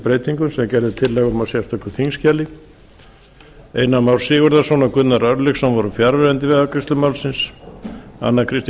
breytingum sem gerð er tillaga um í sérstöku þingskjali einar már sigurðarson og gunnar örlygsson voru fjarverandi við afgreiðslu málsins anna kristín